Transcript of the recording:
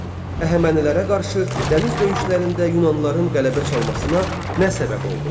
Əhəmənilərə qarşı dəniz döyüşlərində Yunanlıların qələbə çalmasına nə səbəb oldu?